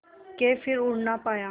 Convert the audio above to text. के फिर उड़ ना पाया